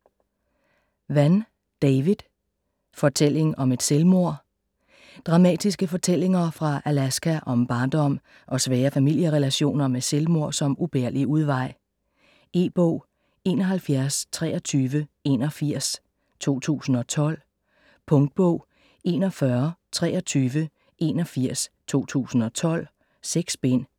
Vann, David: Fortælling om et selvmord Dramatiske fortællinger fra Alaska om barndom og svære familierelationer med selvmord som ubærlig udvej. E-bog 712381 2012. Punktbog 412381 2012. 6 bind.